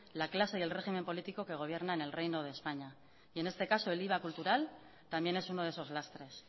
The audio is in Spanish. la clase y el régimen político que gobierna en el reino de españa y en este caso el iva cultural también es uno de esos lastres